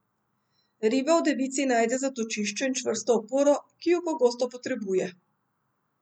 Riba v devici najde zatočišče in čvrsto oporo, ki ju pogosto potrebuje.